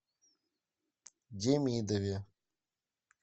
демидове